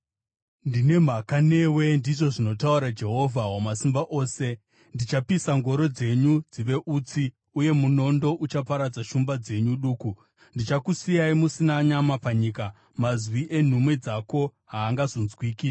“Ndine mhaka newe,” ndizvo zvinotaura Jehovha Wamasimba Ose. “Ndichapisa ngoro dzenyu dzive utsi, uye munondo uchaparadza shumba dzenyu duku. Ndichakusiyai musina nyama panyika. Mazwi enhume dzako haangazonzwikazve.”